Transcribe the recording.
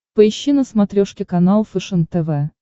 поищи на смотрешке канал фэшен тв